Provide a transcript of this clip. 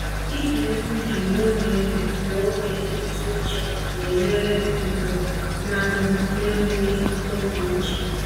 Ịge egwu jụụ n’oge jụụ n’oge ntụ uche na-enyere m nọrọ n’amụma n’enweghị nkụda uche.